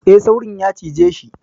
E, Saurin ya cijeshi.